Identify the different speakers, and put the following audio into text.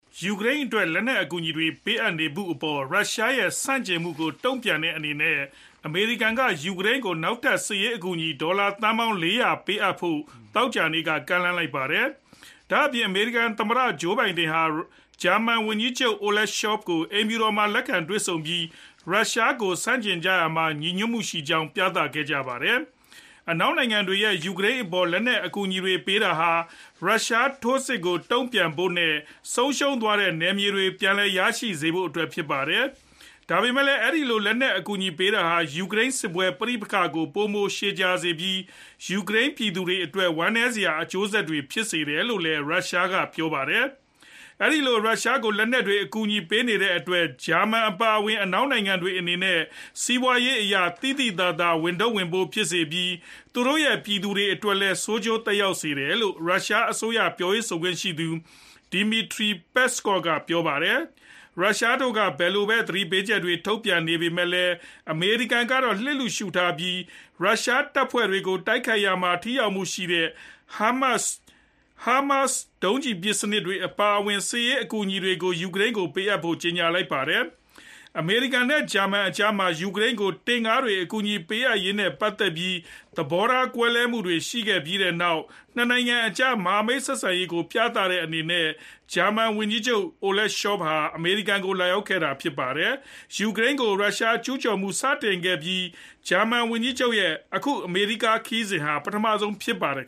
Speaker 1: ယူကရိန်းအတွက် လက်နက်အကူအညီတွေပေးနေတဲ့အပေါ် ရုရှားရဲ့ဆန့်ကျင်မှုကို တုံ့ပြန်တဲ့အနေနဲ့ အမေရိကန်က ယူကရိန်းကို နောက်ထပ်စစ်ရေးအကူအညီ ဒေါ်လာသန်းပေါင်း ၄ဝဝ ပေးအပ်ဖို့ သောကြာနေ့က ကမ်းလှမ်းလိုက်ပါတယ်။ ဒါ့ပြင် အမေရိကန်သမ္မတ Joe Biden က ဂျာမန်ဝန်ကြီးချုပ် Olaf Scholz ကို အိမ်ဖြူတော်မှာလက်ခံတွေ့ဆုံပြီး ရုရှားကိုဆန့်ကျင်ကြရာမှာ ညီညွတ်ကြောင်း ပြသခဲ့ကြပါတယ်။ အနောက်နိုင်ငံတွေက ယူကရိန်းကိုလက်နက်အကူအညီတွေပေးတာဟာ ရုရှားထိုးစစ်ကိုတန်ပြန်ဖို့ နဲ့ ဆုံးရှုံးသွားတဲ့နယ်မြေတွေ ပြန်လည်ရရှိစေဖို့ အဓိက ဖြစ်ပါတယ်။ ဒါပေမယ့်လည်း အဲဒီလို လက်နက်အကူအညီတွေပေးတာဟာ ယူကရိန်းစစ်ပွဲပဋိပက္ခကို ပိုမိုကြာရှည်စေပြီး ယူကရိန်းပြည်သူတွေအတွက် ဝမ်းနည်းစရာ အကျိုးဆက်တွေပဲ ဖြစ်စေတယ်လို့ ရုရှားက ပြောပါတယ်။ အဲဒီလို ယူကရိန်းကို လက်နက်တွေ အကူအညီပေးတဲ့အတွက် ဂျာမန်အပါအဝင် အနောက်နိုင်ငံတွေအနေနဲ့ စီးပွားရေးအရ သိသိသာသာ ဝန်ထုပ်ဝန်ပိုးဖြစ်စေပြီး သူတို့ရဲ့ ပြည်သူတွေအတွက်လည်း ဆိုးကျိုးသက်ရောက်စေတယ်လို့ ရုရှားအစိုးရ ပြောရေးဆိုခွင့်ရှိသူ Dmitry Peskov က ပြောပါတယ်။ ရုရှားတို့က ဘယ်လိုပဲ သတိပေးချက်တွေထုတ်ပြန်နေပေမယ့်လည်း အမေရိကန်ကတော့ လျစ်လျှူရှုပြီး ရုရှားတပ်ဖွဲ့တွေကိုတိုက်ခိုက်ရာမှာ ထိရောက်မှုရှိတဲ့ HIMARS ဒုံးကျည်ပစ်စနစ်တွေအပါအဝင် စစ်ရေးအကူအညီတွေ ယူကရိန်းကိုပေးအပ်ဖို့ ကြေညာလိုက်ပါတယ်။ အမေရိကန်နဲ့ ဂျာမန်တို့ကြားမှာ ယူကရိန်းကို တင့်ကားတွေအကူအညီပေးရေးနဲ့ပတ်သက်ပြီး သဘောထားကွဲလွဲမှုတွေရှိခဲ့ပြီးနောက် ၂ နိုင်ငံကြား မဟာမိတ် ဆက်ဆံရေးကို ပြသတဲ့အနေနဲ့ ဂျာမန်ဝန်ကြီးချုပ် Scholz က အမေရိကန်ကို လာရောက်ခဲ့တာဖြစ်ပါတယ်။ ယူကရိန်းကို ရုရှားကျူးကျော်မှုစတင်ကတည်းက ဂျာမန်ဝန်ကြီးချုပ်ရဲ့ အခု အမေရိကန်ခရီးစဉ်ဟာ ပထမဆုံးဖြစ်ပါတယ်